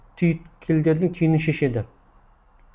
түйткілдердің түйінін шешеді